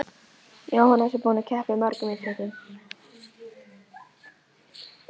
Jóhannes: Búinn að keppa í mörgum íþróttum?